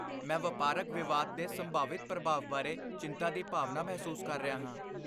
ਮੈਂ ਵਪਾਰਕ ਵਿਵਾਦ ਦੇ ਸੰਭਾਵਿਤ ਪ੍ਰਭਾਵ ਬਾਰੇ ਚਿੰਤਾ ਦੀ ਭਾਵਨਾ ਮਹਿਸੂਸ ਕਰ ਰਿਹਾ ਹਾਂ।